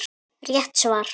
Rétt svar!